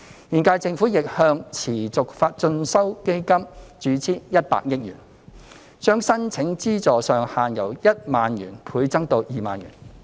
現屆政府亦向持續進修基金注資100億元，將申領資助上限由1萬元倍增至2萬元。